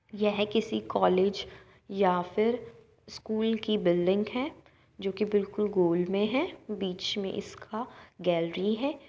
यह किसी कॉलेज है या फिर स्कूल की बिल्डिंग है जो की बिल्कुल गोल में है बीच में इसका गैलरी है।